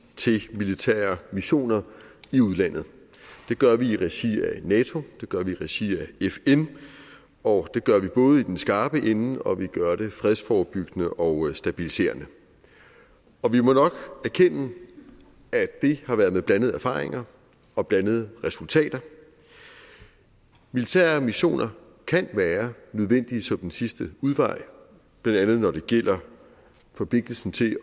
til militære missioner i udlandet det gør vi i regi af nato det gør vi i regi af fn og det gør vi både i den skarpe ende og vi gør det krigsforebyggende og stabiliserende og vi må nok erkende at det har været med blandede erfaringer og blandede resultater militære missioner kan være nødvendige som den sidste udvej blandt andet når det gælder forpligtelsen til